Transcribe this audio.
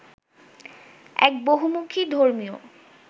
এক বহুমুখী ধর্মীয়